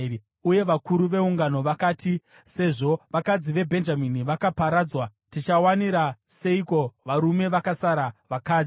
Uye vakuru veungano vakati, “Sezvo vakadzi veBhenjamini vakaparadzwa, tichawanira seiko varume vakasara vakadzi?”